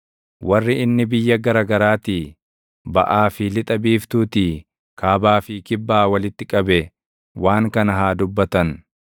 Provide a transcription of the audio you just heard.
warri inni biyya gara garaatii, baʼaa fi lixa biiftuutii, kaabaa fi kibbaa walitti qabe waan kana haa dubbatan.